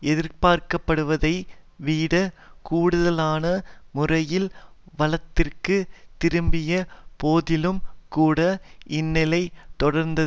எதிர்பார்க்கப்படுவதை விட கூடுதலான முறையில் வலதிற்கு திரும்பிய போதிலும்கூட இந்நிலை தொடர்ந்த